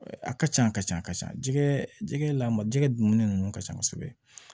A ka ca a ka ca a ka ca jigɛ jɛgɛ lamɔ jɛgɛ dun ninnu ka ca kosɛbɛ